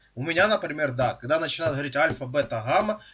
у меня например да когда начала говорить альфа бета гамма